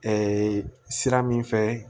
sira min fɛ